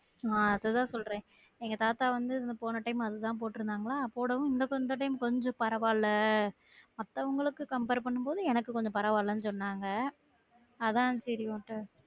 ஆஹ் அததான் சொல்றன் எங்க தாத்தா வந்து போன time அது தான் போற்றுந்த போடவும் இந்த time கொஞ்சம் பரவால்ல அப்போ உள்ளவங்களுக்கு compare பண்ணும் போது எனக்கு கொஞ்சம் பரவா இல்லன்னு சொன்னாங்க அதான் செரி ஒண்ட